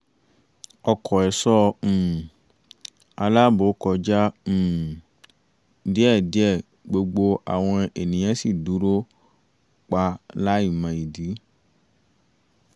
ọkọ̀ ẹ̀ṣọ́ um àláàbò kọjá um díẹ̀díẹ̀ gbogbo àwọn ènìyàn sì dúró pa láì mọ ìdí